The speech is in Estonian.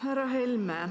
Härra Helme!